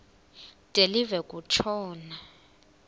de live kutshona